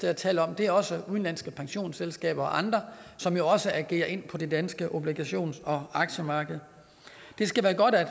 jeg taler om det er også udenlandske pensionsselskaber og andre som jo også agerer på det danske obligations og aktiemarked det skal være godt at